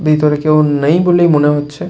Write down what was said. ভেতরে কেউ নেই বলেই মনে হচ্ছে।